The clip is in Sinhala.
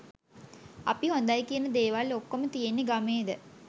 අපි හොඳයි කියන දේවල් ඔක්කොම තියෙන්නෙ ගමේද?